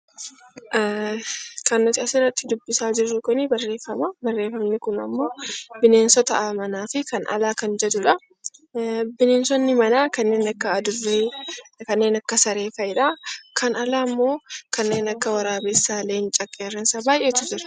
Bineensonni manaa kanneen akka adurree, kanneen akka saree fa'idha. Kan alaammoo kanneen akka waraabessa, leenca, qeerransa baay'eetu jira.